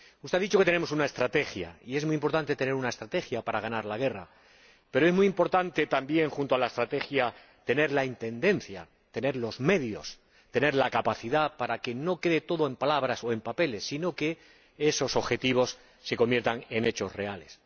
Usted ha dicho que tenemos una estrategia, y es muy importante tener una estrategia para ganar la guerra, pero es muy importante también, junto a la estrategia, tener la intendencia, tener los medios, tener la capacidad para que no quede todo en palabras o en papeles sino que esos objetivos se conviertan en hechos reales.